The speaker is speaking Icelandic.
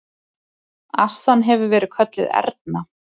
Assan hefur verið kölluð Erna.